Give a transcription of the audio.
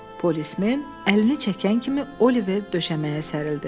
Polismen əlini çəkən kimi Oliver döşəməyə sərildi.